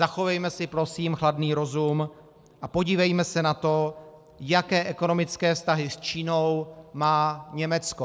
Zachovejme si prosím chladný rozum a podívejme se na to, jaké ekonomické vztahy s Čínou má Německo.